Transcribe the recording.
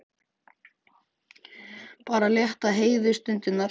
Bara til að létta Heiðu stundirnar.